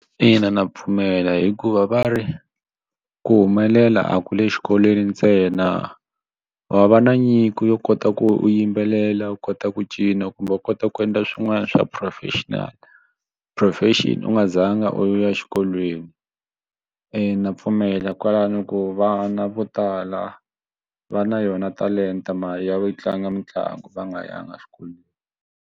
Ina ndza pfumela hikuva va ri ku humelela a ku le xikolweni ntsena wa va na nyiko yo kota ku yimbelela u kota ku cina kumbe u kota ku endla swin'wana swa professional profession u nga zanga u ya exikolweni ina pfumela kwalano ku vana vo tala va na yona talenta ma ya yi tlanga mitlangu va nga yanga exikolweni.